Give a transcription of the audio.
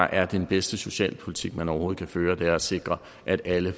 er den bedste socialpolitik man overhovedet kan føre at sikre at alle